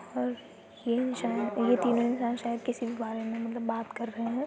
और ये इंसान ये तीनों इंसान शायद किसी बारे मे मतलब बात कर रहै हैं।